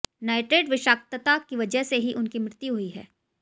nitrate विषाक्तता की वजह से ही उनकी मृत्यु हुई है